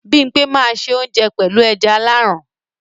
Bimpe máa n se ounje pẹlu ẹja Aláran.